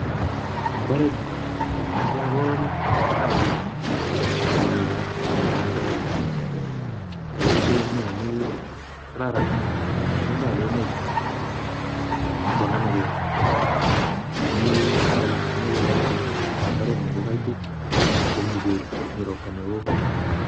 Eng imbaret nyu ko kiagool chai akomii kora mugandek akomii bandek. Ako rutu komiee amu kararan itondab emet, ako namegei amuu chaik komejei olekaitit. Ako mbaret nyu ko kaitit akomii beek, mi ropta neoo.